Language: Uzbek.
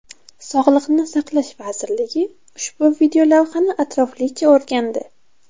Sog‘liqni saqlash vazirligi ushbu videolavhani atroflicha o‘rgandi.